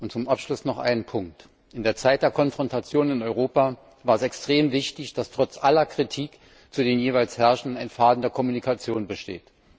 Zum Abschluss noch ein Punkt In der Zeit der Konfrontation in Europa war es extrem wichtig, dass trotz aller Kritik zu den jeweils Herrschenden ein Faden der Kommunikation bestand.